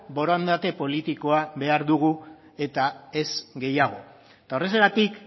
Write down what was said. borondate politikoa behar dugu eta ez gehiago eta horrexegatik